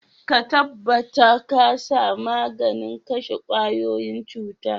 Ka tabatar ka sa maganin kashe kwaikwayoyin cuta.